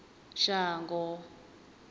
shango